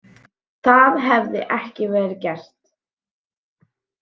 Það hefði ekki verið gert